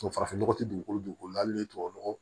farafin nɔgɔ tɛ dugukolo la hali ni tubabu nɔgɔ